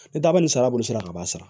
Ni daba ni sara bɔ sira ka b'a sara